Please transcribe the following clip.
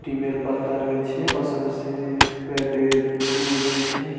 ডিমের পাতা রয়েছে পাশাপাশি প্যাড এর ই রয়েছে।